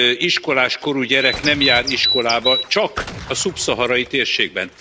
iskoláskorú gyerek nem jár iskolába, csak a szubszaharai térségben.